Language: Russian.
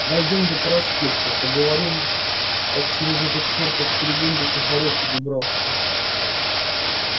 дойдём до проспекта поговорим как через этот чертов перегон до сухарёвки добираться